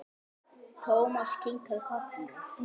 Thomas kinkaði kolli.